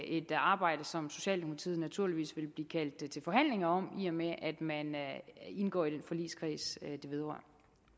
et arbejde som socialdemokratiet naturligvis vil blive kaldt til forhandlinger om i og med at man indgår i den forligskreds det vedrører